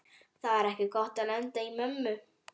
Það var ekki gott að lenda í mömmu